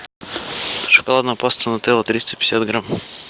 шоколадная паста нутелла триста пятьдесят грамм